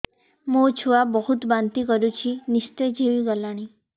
ମୋ ଛୁଆ ବହୁତ୍ ବାନ୍ତି କରୁଛି ନିସ୍ତେଜ ହେଇ ଗଲାନି